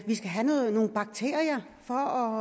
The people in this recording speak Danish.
skal have nogle bakterier for